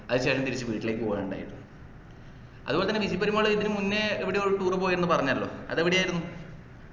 അതിനുശേഷം തിരിച് വീട്ടിലേക്ക്പോകുആ ഇണ്ടായത്. അത്പോലെതന്നെ വിജി പെരുമാള് ഇതിന് മുന്നേ എവിടെയോ ഒരു tour പോയിന്നു പറഞ്ഞല്ലോ അത് എവിടെയായിരുന്നു